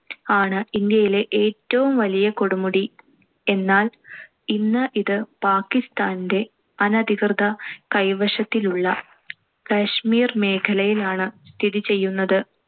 ആണ്. ഇന്ത്യയിലെ ഏറ്റവും വലിയ കൊടുമുടി. എന്നാൽ ഇന്ന് ഇത് പാക്കിസ്താന്‍റെ അനധികൃത കൈവശത്തിലുള്ള കശ്മീർ മേഖലയിലാണ് സ്ഥിതി ചെയ്യുന്നത്